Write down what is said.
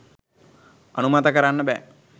අනුමත කරන්න බෑ.